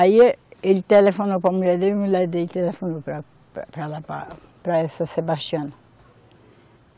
Aí ê, ele telefonou para a mulher dele e mulher dele telefonou para, para lá, para essa Sebastiana.